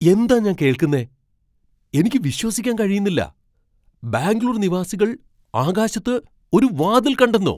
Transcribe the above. എന്താ ഞാൻ കേൾക്കുന്നേ, എനിക്ക് വിശ്വസിക്കാൻ കഴിയുന്നില്ല! ബാംഗ്ലൂർ നിവാസികൾ ആകാശത്ത് ഒരു വാതിൽ കണ്ടെന്നോ!